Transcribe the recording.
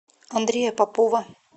андрея попова